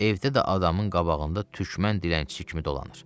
Evdə də adamın qabağında türkmən dilənçisi kimi dolanır.